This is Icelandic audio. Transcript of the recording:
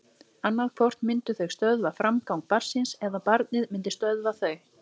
Annað hvort myndu þau stöðva framgang barnsins eða barnið myndi stöðva þau.